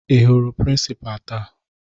Ị hụrụ prịnsịpaa taa?